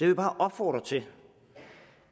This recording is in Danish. vil bare opfordre til